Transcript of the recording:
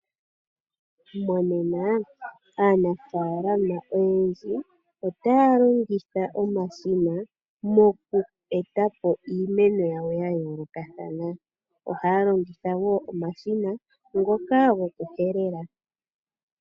Monena aanafaalama oyendji otaya longitha omashina moku etapo iimeno yawo ya yoolokathana. Ohaya longitha woo omashina ngoka gokuhelela.